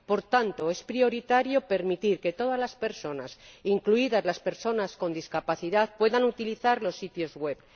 Por tanto, es prioritario permitir que todas las personas, incluidas las personas con discapacidad, puedan utilizar los sitios web.